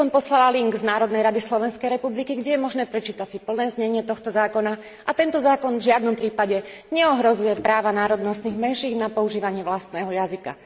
Takisto som poslala odkaz na stránku Národnej rady Slovenskej republiky, kde je možné prečítať si plné znenie tohto zákona, a tento zákon v žiadnom prípade neohrozuje práva národnostných menšín na používanie vlastného jazyka.